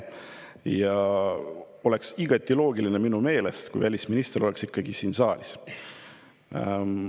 Minu meelest oleks igati loogiline, et välisminister oleks olnud siin saalis.